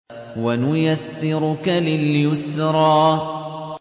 وَنُيَسِّرُكَ لِلْيُسْرَىٰ